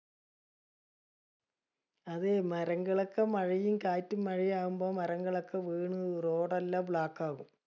അത് മരങ്ങളൊക്കെ മഴയും കാറ്റും മഴയാവുമ്പോ മരങ്ങളൊക്കെ വീണ് road എലാം block ആവും.